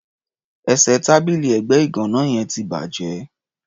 Ẹsẹ̀ tábìlì ẹ̀gbẹ́ ìgàná yẹn ti bàjẹ́.